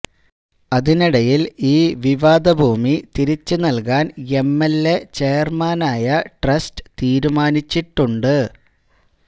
അതിനിടയില് ഈ വിവാദ ഭൂമി തിരിച്ചു നല്കാന് എം എല് എ ചെയര്മാനായ ട്രസ്റ്റ് തീരുമാനിച്ചിട്ടുണ്ട്